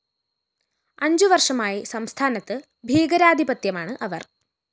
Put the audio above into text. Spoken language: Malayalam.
അഞ്ചുവര്‍ഷമായി സംസ്ഥാനത്ത് ഭീകര ആധിപത്യമാണ് അവര്‍